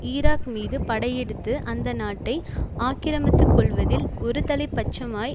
Iraq மீது படையெடுத்து அந்த நாட்டை ஆக்கிரமித்து கொள்வதில் ஒரு தலைப்பட்சமாய்